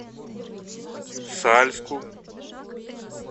сальску